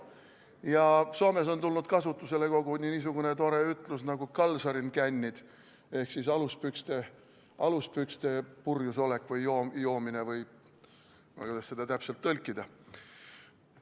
Ja Soomes on tulnud kasutusele koguni niisugune tore sõna nagu kalsarikännit ehk aluspükstes purjusolek või joomine või kuidas seda täpselt tõlkida.